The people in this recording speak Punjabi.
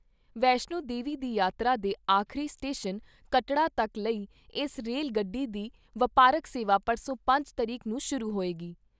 ਵੈਸ਼ਨੋ ਦੇਵੀ ਦੀ ਯਾਤਰਾ ਦੇ ਆਖਰੀ ਸਟੇਸ਼ਨ ਕਟੌੜਾ ਤੱਕ ਲਈ ਇਸ ਰੇਲ ਗੱਡੀ ਦੀ ਵਪਾਰਕ ਸੇਵਾ ਪਰਸੋਂ ਪੰਜ ਤਰੀਕ ਨੂੰ ਸ਼ੁਰੂ ਹੋਏਗੀ।